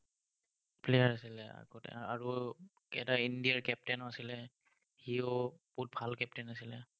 player আছিলে আগতে, আৰু, এটা ইণ্ডিয়াৰ captain ও আছিলে, সিও বহুত ভাল captain আছিলে।